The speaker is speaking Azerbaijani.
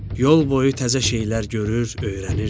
Yol boyu təzə şeylər görür, öyrənirdi.